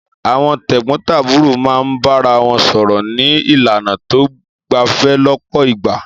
Àwọn tẹ̀gbọ́ntàbúrò máa ń bára wọn sọ̀rọ̀ ní ìlànà tó gbẹ̀fẹ̀ lọ́pọ̀ ìgbà.